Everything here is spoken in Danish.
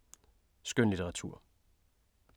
Skønlitteratur